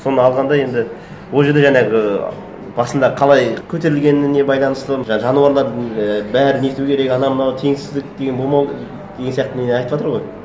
соны алғанда енді ол жерде жаңағы басында қалай көтерілгеніне байланысты жануарлардың і бәрін өйту керек анау мынау теңсіздік деген болмау деген сияқты не айтыватыр ғой